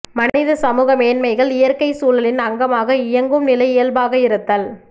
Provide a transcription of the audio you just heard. மனித சமூக மேன்மைகள் இயற்கை சூழலின் அங்கமாக இயங்கும் நிலை இயல்பாக இருத்தல்